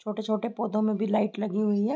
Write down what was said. छोटे-छोटे पौधों में भी लाइट लगी हुवी है।